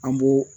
An b'o